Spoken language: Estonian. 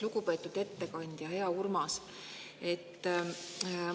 Lugupeetud ettekandja, hea Urmas!